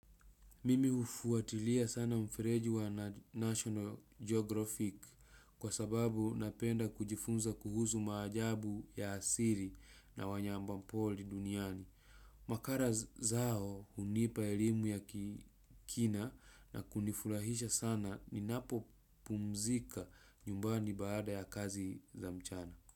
Mimi hufuatilia sana mfereji wa National Geographic kwa sababu napenda kujifunza kuhuzu maajabu ya asili na wanyamapori duniani. Makala zao hunipa elimu ya kikina na kunifurahisha sana ninapo pumzika nyumbani baada ya kazi za mchana.